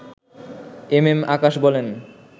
M M Akash বলেন